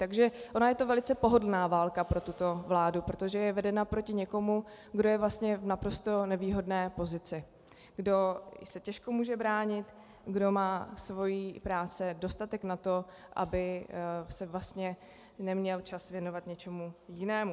Takže ona je to velice pohodlná válka pro tuto vládu, protože je vedena proti někomu, kdo je vlastně v naprosto nevýhodné pozici, kdo se těžko může bránit, kdo má své práce dostatek na to, aby se vlastně neměl čas věnovat něčemu jinému.